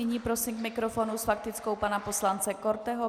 Nyní prosím k mikrofonu s faktickou pana poslance Korteho.